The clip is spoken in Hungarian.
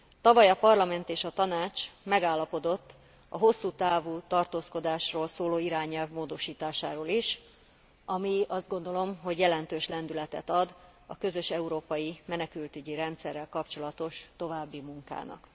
Tavaly a Parlament és a Tanács megállapodott a hosszú távú tartózkodásról szóló irányelv módosításáról is, ami azt gondolom, hogy jelentős lendületet ad a közös európai menekültügyi rendszerrel kapcsolatos további munkának.